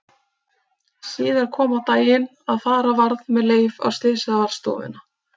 Síðar kom á daginn að fara varð með Leif á Slysavarðstofuna.